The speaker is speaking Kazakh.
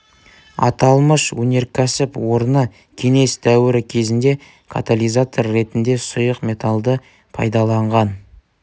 аталмыш өнерксіп орны кеңес дуірі кезінде катализатор ретінде сұйық металды пайдаланған